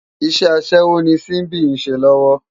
Iṣè aṣèwó ni Simbi n ṣé lòwò